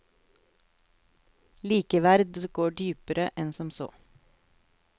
Likeverd går dypere enn som så.